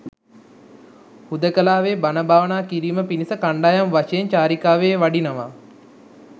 හුදෙකලාවේ බණ භාවනා කිරීම පිණිස කණ්ඩායම් වශයෙන් චාරිකාවේ වඩිනවා.